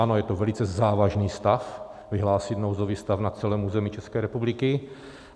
Ano, je to velice závažný stav, vyhlásit nouzový stav na celém území České republiky.